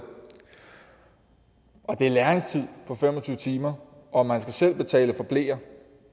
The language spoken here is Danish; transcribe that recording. det er læringstid på fem og tyve timer og man skal selv betale for bleer